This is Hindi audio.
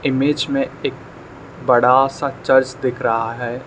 इमेज मे एक बड़ा सा चर्च दिख रहा है।